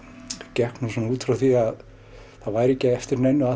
gekk út frá því að það væri ekki eftir neinu að